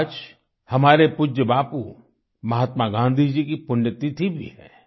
आज हमारे पूज्य बापू महात्मा गाँधी जी की पुण्यतिथि भी है